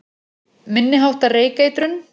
Minni háttar reykeitrun